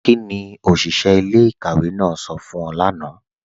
Kíni oṣiṣẹ̀ ilẹ̀-ikàwé náà sọ fún ọ̀ lána?